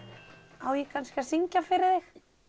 á ég kannski að syngja fyrir þig